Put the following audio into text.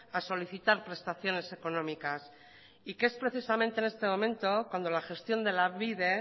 a solicitar prestaciones económicas y que es precisamente en este momento cuando la gestión de lanbide